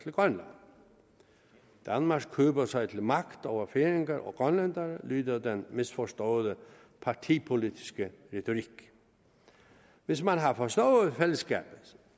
grønland danmark køber sig til magt over færinger og grønlændere lyder den misforståede partipolitiske retorik hvis man har forstået fællesskabet